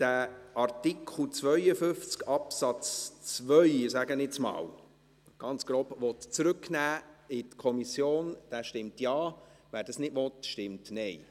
Wer Artikel 52 Absatz 2, sage ich jetzt einmal ganz grob, zurück in die Kommission nehmen will, stimmt Ja, wer das nicht will, stimmt Nein.